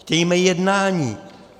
Chtějme jednání.